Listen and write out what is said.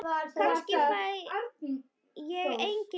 Kannski fæ ég engin svör.